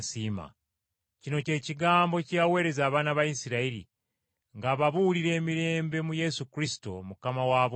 Kino kye kigambo kye yaweereza abaana ba Isirayiri ng’ababuulira emirembe mu Yesu Kristo, Mukama wa bonna.